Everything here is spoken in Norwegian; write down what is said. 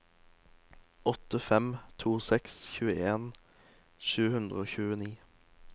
åtte fem to seks tjueen sju hundre og tjueni